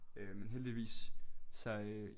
Øh en heldigvis så øh